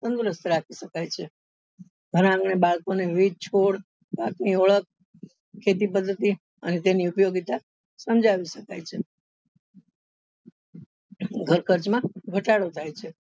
તંદુરસ્ત રાખી શકાય છે ઘર આંગણે ખેતી પદ્ધતિ અને તેની ઉપયોગીતા સમજાવી શકાય છે ઘર ખર્ચ માં ઘટાડો થાય છે.